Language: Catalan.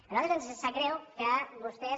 a nosaltres ens sap greu que vostès